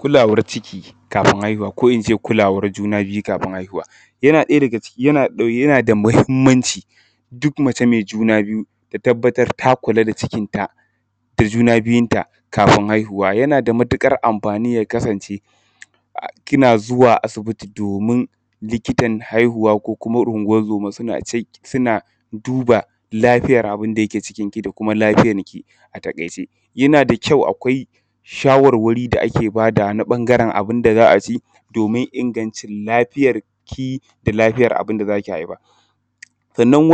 Kulawar ciki kafin haihuwa ko in ce kulawar juna biyu kafin. Yana ɗaya daga ciki, yana da muhimmanci duk mace mai juna biyu ta tabbatar ta kula da cikinta da juna biyunta kafin haihuwa yana da matuƙar amfani ya kasance kina zuwa asibiti domin likitan haihuwa ko kuma ungo-zoma suna checking, suna duba lafiyar abin da ke cikinki da kuma lafiyarki a taƙaice. Yana da kyau akwai shawarwari da ake badawa na ɓangaren abin da za a ci, domin ingancin lafiyarki da lafiyar abin da za ki haifa. Sannan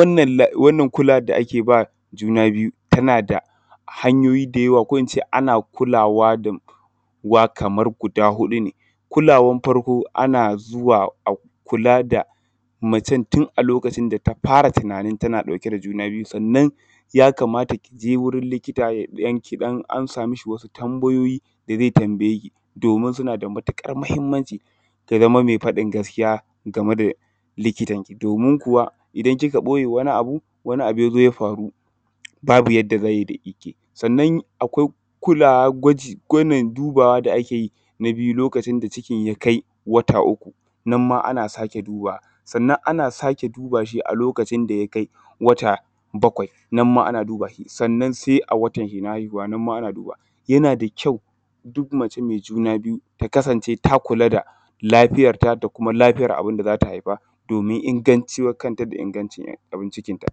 wannan kulawar da ake ba juna biyu, tana da hanyoyi da yawa ko in ce ana kulawa da uwa kamar guda huɗu ne. Kulawan farko ana zuwa a kula da macen tun a lokacin da ta fara tunanin tana ɗauke da juna biyu sannan ya kamata ki je wurin likita ki ɗan amsa mashi wasu tambayoyi da zai tambaye ki, domin suna da matuƙar muhimmanci. Ta zama mai faɗin gaskiya game da likitan domin kuwa idan kika ɓoye wani abu, wani abu ya zo ya faru, babu yadda zai yi da ke. Sannan akwai kulawar gwaji, wannan dubawa da ake yin a biyu lokacin da cikin ya kai wata uku, nan ma ana sake dubawa. Sannan ana sake duba shi a lokacin da ya kai wata bakwai, nan ma ana duba shi. Sannan sai a watanshi na haihuwa, nan ma ana dubawa. Yana da kyau duk mace mai juna biyu ta kasance ta kula da lafiyarta da kuma lafiyar abin da za ta haifa domin inganci wa kanta da ingancin abin cikinta.